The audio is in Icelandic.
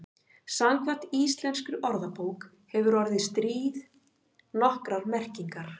Samkvæmt íslenskri orðabók hefur orðið stríð nokkrar merkingar.